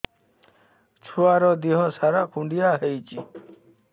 ଛୁଆର୍ ଦିହ ସାରା କୁଣ୍ଡିଆ ହେଇଚି